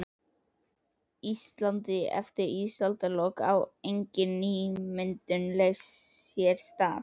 Íslandi eftir ísaldarlok, á engin nýmyndun leirs sér stað.